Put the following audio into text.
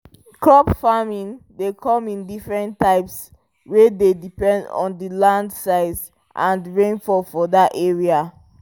crop farming dey come in diffrent types which dey depend on the land size and rainfall for that area